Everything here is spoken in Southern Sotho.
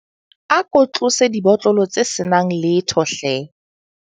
A ko tlose dibotlolo tse se nang letho hle.